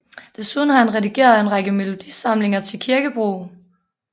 Desuden har han redigeret en række melodisamlinger til kirkebrug